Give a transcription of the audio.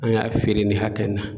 An y'a feere ni hakɛ in na